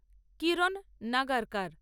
কিরণ নাগার কার